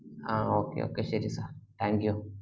ആ okay okay ശെരി thank you